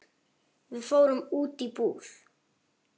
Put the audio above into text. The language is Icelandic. Við fórum út í búð.